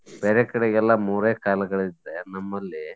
ಬೇರೆ ಕಡೆ ಎಲ್ಲಾ ಮೂರೇ ಕಾಲಗಳಿದ್ರೆ ನಮ್ಮಲ್ಲಿ.